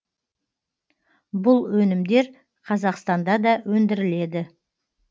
бұл өнімдер қазақстанда да өндіріледі